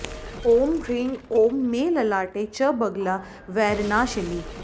ॐ ह्रीं ॐ मे ललाटे च बगला वैरिनाशिनी